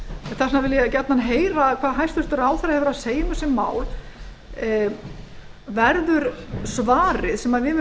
vil ég gjarnan heyra hvað hæstvirtur ráðherra hefur að segja um þessi mál verður svarið sem